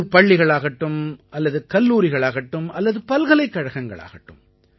அது பள்ளிகளாகட்டும் அல்லது கல்லூரிகளாகட்டும் அல்லது பல்கலைக்கழகங்களாகட்டும்